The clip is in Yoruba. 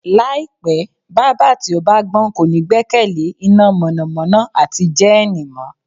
Láìpé̩, bábà tí ó bá gbó̩n kò ní gbé̩kè̩lé iná mò̩nàmó̩ná àti jé̩é̩nì mó̩